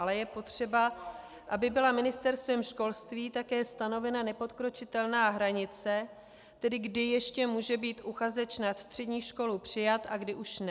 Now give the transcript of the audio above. Ale je potřeba, aby byla Ministerstvem školství také stanovena nepodkročitelná hranice, tedy kdy ještě může být uchazeč na střední školu přijat a kdy už ne.